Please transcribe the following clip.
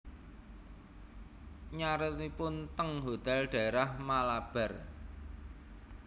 Nyarenipun ten hotel daerah Malabar